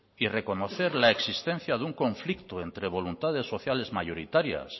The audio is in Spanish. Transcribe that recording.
y reconocer la existencia de un conflicto entre voluntades sociales mayoritarias